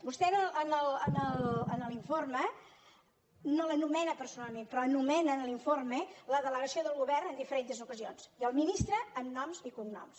vostè en l’informe no l’anomena personalment però anomena en l’informe la delegació de govern en diferents ocasions i el ministre amb noms i cognoms